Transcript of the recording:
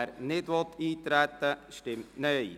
wer nicht eintreten will, stimmt Nein.